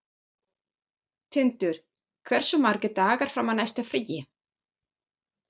Tindur, hversu margir dagar fram að næsta fríi?